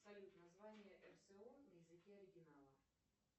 салют название рсо на языке оригинала